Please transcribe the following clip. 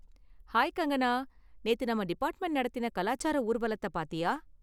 Hi Kangana! நேத்து நம்ம department நடத்தின கலாச்சார ஊர்வலத்த பாத்தியா?